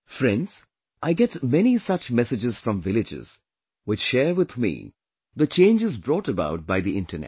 Friends, I get many such messages from villages, which share with me the changes brought about by the internet